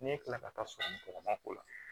N'e kila ka taa sɔgɔmagɔgɔnma k'o la